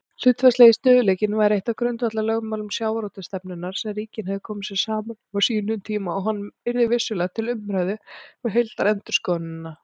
Hlutfallslegi stöðugleikinn væri eitt af grundvallarlögmálum sjávarútvegsstefnunnar sem ríkin hefðu komið sér saman um á sínum tíma og hann yrði vissulega til umræðu við heildarendurskoðunina.